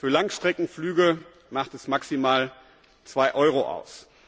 Für Langstreckenflüge macht es maximal 2 Euro aus.